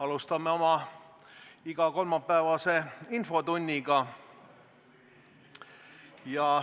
Alustame oma igakolmapäevast infotundi.